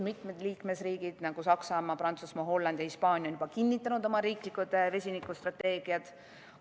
Mitmed liikmesriigid, nagu Saksamaa, Prantsusmaa, Holland ja Hispaania, on juba kinnitanud oma riiklikud vesinikustrateegiad.